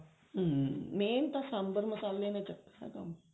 ਹਮ main ਤਾਂ ਸਾਂਬਰ ਮਸਾਲੇ ਨੇ ਚੱਕਣਾ ਕੰਮ